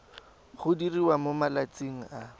go diriwa mo malatsing a